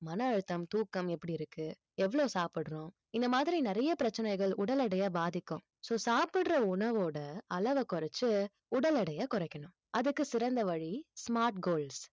மன அழுத்தம் தூக்கம் எப்படி இருக்கு எவ்வளவு சாப்பிடுறோம் இந்த மாதிரி நிறைய பிரச்சனைகள் உடல் எடையை பாதிக்கும் so சாப்பிடுற உணவோட அளவை குறைச்சு உடல் எடையை குறைக்கணும் அதுக்கு சிறந்த வழி smart goals